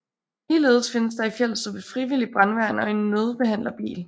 Ligeledes findes der i Fjelstrup et frivilligt brandværn og en nødbehandlerbil